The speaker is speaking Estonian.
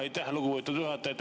Aitäh, lugupeetud juhataja!